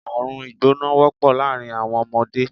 Àrùn ìgbóná wọ́pọ̀ láàárín àwọn ọmọdé